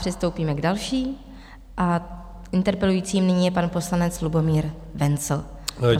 Přistoupíme k další a interpelujícím nyní je pan poslanec Lubomír Wenzl.